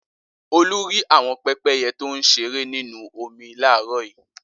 Olú rí àwọn pẹ́pẹ́yẹ tó ń ṣeré nínú omi láàárọ̀ yìí.